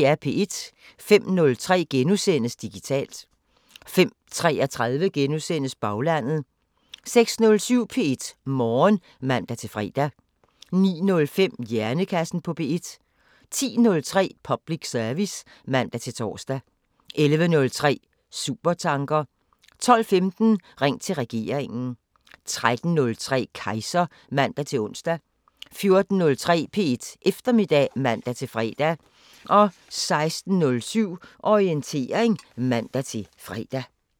05:03: Digitalt * 05:33: Baglandet * 06:07: P1 Morgen (man-fre) 09:05: Hjernekassen på P1 10:03: Public service (man-tor) 11:03: Supertanker 12:15: Ring til regeringen 13:03: Kejser (man-ons) 14:03: P1 Eftermiddag (man-fre) 16:07: Orientering (man-fre)